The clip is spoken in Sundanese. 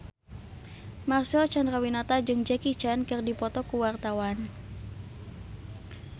Marcel Chandrawinata jeung Jackie Chan keur dipoto ku wartawan